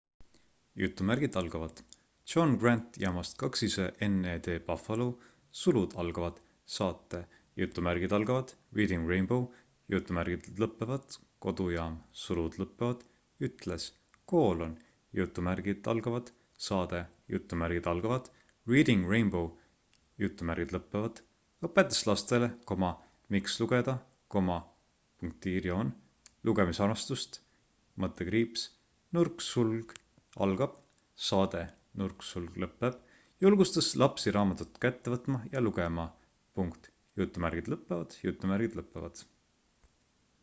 "john grant jaamast wned buffalo saate reading rainbow" kodujaam ütles: saade reading rainbow" õpetas lastele miks lugeda ... lugemisarmastust — [saade] julgustas lapsi raamatut kätte võtma ja lugema.""